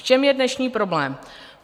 V čem je dnešní problém?